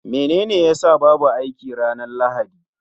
Menene ya sa babu aiki ranar Lahadi?